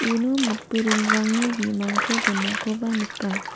uno matburungrangni bimangko donakoba nika.